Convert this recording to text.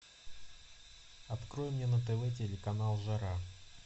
открой мне на тв телеканал жара